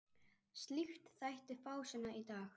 Slíkt þætti fásinna í dag.